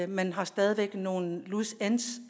man har stadig væk nogle loose ends